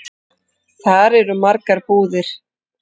Þar eru margar búðir.